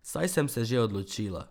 Saj sem se že odločila.